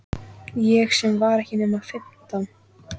Ég sem var ekki nema fimmtán!